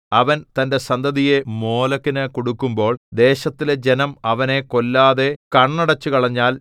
അവൻ തന്റെ സന്തതിയെ മോലെക്കിനു കൊടുക്കുമ്പോൾ ദേശത്തിലെ ജനം അവനെ കൊല്ലാതെ കണ്ണടച്ചുകളഞ്ഞാൽ